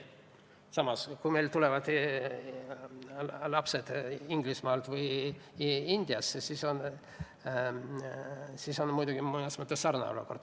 Samas, kui meile tulevad lapsed Inglismaalt või Indiast, siis on muidugi mõnes mõttes sarnane olukord.